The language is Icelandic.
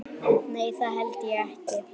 Nei, það held ég ekki.